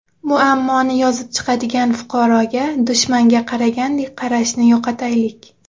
Muammoni yozib chiqadigan fuqaroga dushmanga qaragandek qarashni yo‘qotaylik”.